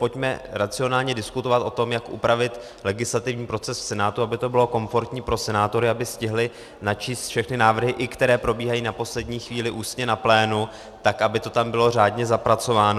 Pojďme racionálně diskutovat o tom, jak upravit legislativní proces v Senátu, aby to bylo komfortní pro senátory, aby stihli načíst všechny návrhy, i které probíhají na poslední chvíli ústně na plénu, tak aby to tam bylo řádně zapracováno.